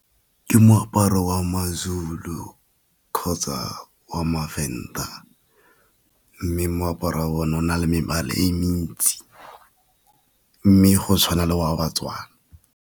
Ke moaparo wa ma-Zulu kgotsa wa ma-Venda, mme moaparo wa bona o na le mebala e mentsi, mme go tshwana le wa ba-Tswana.